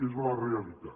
és la realitat